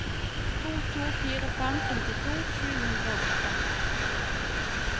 to to fire fem femtito sju hundre og åtte